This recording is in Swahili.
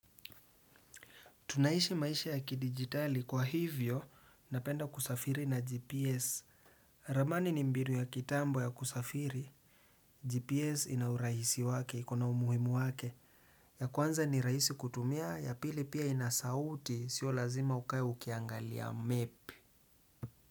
Tunaishi maisha ya kidigitali kwa hivyo, napenda kusafiri na GPS. Ramani ni mbinu ya kitambo ya kusafiri. GPS inaurahisi wake, ikona umuhimu wake. Ya kwanza ni raisi kutumia, ya pili pia inasauti, sio lazima ukai ukiangalia map.